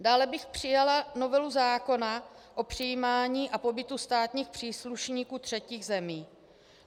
Dále bych přijala novelu zákona o přijímání a pobytu státních příslušníků třetích zemí.